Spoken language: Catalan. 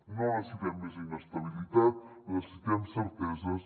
no necessitem més inestabilitat necessitem certeses